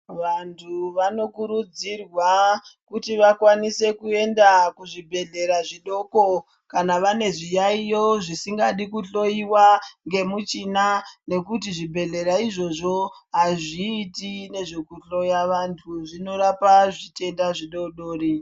Vantu vanokurudzirwa kuti vakwanise kuenda kuzvibhedhlera zvidoko kana vane zviyaiyo zvisingadi kuhloiwa ngemuchina. Ngekuti zvibhedhlera izvozvo hazviiti nezvekuhloya vantu zvinorapa zvitenda zvidodori.